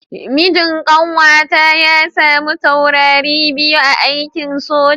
Mijin kanwata ya samu taurari biyu a aikin soja.